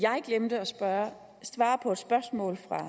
gøre